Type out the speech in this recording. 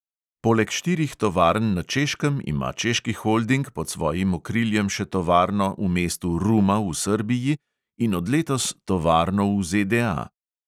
Poleg štirih tovarn na češkem ima češki holding pod svojim okriljem še tovarno v mestu ruma v srbiji in od letos tovarno v ZDA.